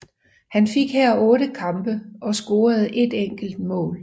Han fik her otte kampe og scorede et enkelt mål